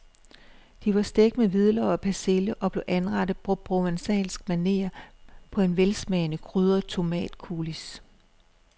De var stegt med hvidløg og persille og blev anrettet på provencalsk maner på en velsmagende krydret tomatcoulis.